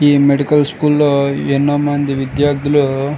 ఈ medical school లో ఎంతో మంది విద్యార్థులు --